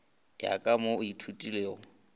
ya ka mo o ithutilego